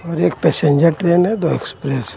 और एक passenger train है दो एक्सप्रेस है.